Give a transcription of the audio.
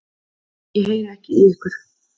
Ég heyri ekki í ykkur.